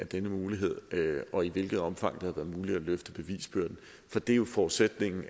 denne mulighed og i hvilket omfang det har været muligt at løfte bevisbyrden for det er jo forudsætningen